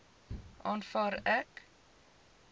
aanvaar ek